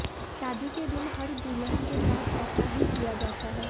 शादी के दिन हर दुल्हन के साथ ऐसा ही किया जाता है